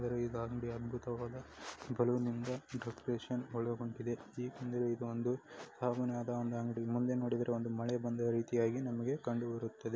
ಇದು ಅಂಗಡಿ ಅಧ್ಬುತವಾದ ಬಲೂನ್ ಇಂದ ಡೆಕೋರೇಷನ್ ಇದೊಂದು ಮುಂದೆ ನೋಡಿದ್ರೆ ಒಂದು ಮಳೆ ಬಂದು ರೀತಿಯಾಗಿ ನಮಗೆ ಕಂಡು ಬರುತ್ತದೆ.